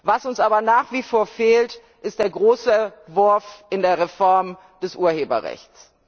Was uns aber nach wie vor fehlt, ist der große Wurf in der Reform des Urheberrechts.